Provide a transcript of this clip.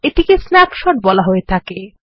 এটিকেস্ন্যাপশট বলা হয়ে থাকে